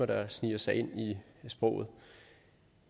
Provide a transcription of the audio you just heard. der sniger sig ind i sproget